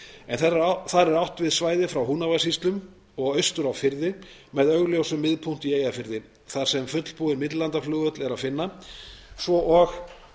en þar er átt við svæðið frá húnavatnssýslum og austur á firði með augljósum miðpunkti í eyjafirði þar sem fullbúinn millilandaflugvöll er að finna svo og